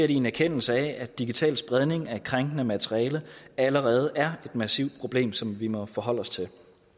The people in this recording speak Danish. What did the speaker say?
i en erkendelse af at digital spredning af krænkende materiale allerede er et massivt problem som vi må forholde os til